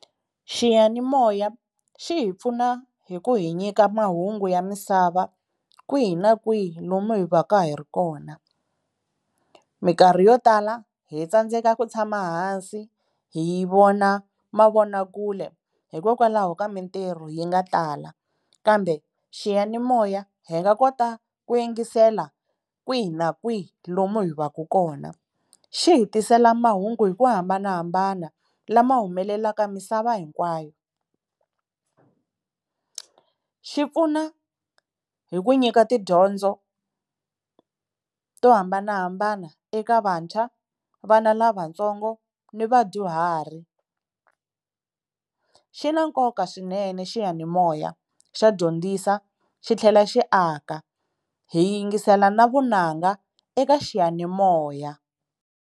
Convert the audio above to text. Xiyanimoya xi hi pfuna hi ku hi nyika mahungu ya misava kwihi na kwihi lomu hi va ka hi ri kona, minkarhi yo tala hi tsandzeka ku tshama hansi hi yi vona mavonakule hikokwalaho ka mintirho yi nga tala, kambe xiyanimoya hi nga kota ku yingisela kwihi na kwihi lomu hi va ku kona. Xi hi tisela mahungu hi ku hambanahambana lama humelelaka misava hinkwayo. Xi pfuna hi ku nyika tidyondzo to hambanahambana eka vantshwa vana lavatsongo ni vadyuhari. Xi na nkoka swinene xiyanimoya xa dyondzisa xi tlhela xi aka hi yingisela na vunanga eka xiyanimoya.